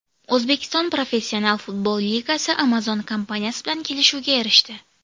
O‘zbekiston Professional futbol ligasi Amazon kompaniyasi bilan kelishuvga erishdi.